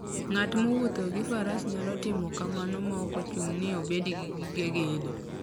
Ng'at mowuotho gi faras nyalo timo kamano maok ochuno ni obed gi gige gedo.